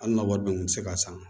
Hali na wari dun kun ti se ka san